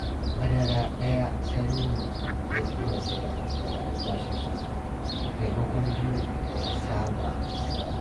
Madara ɗaya Saminu ya iya saya daga albashinsa maimakon biyu da ya saba saya